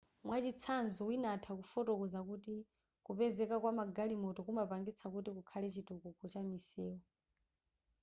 mwachitsanzo wina atha kufotokoza kuti kupezeka kwama galimoto kumapangitsa kuti kukhale chitukuko cha misewu